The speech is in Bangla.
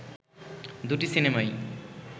দুটি সিনেমাই